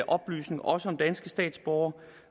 oplysninger også om danske statsborgere